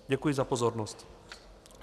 Děkuji za pozornost.